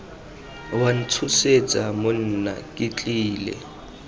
wa ntshosetsa monna ke tlile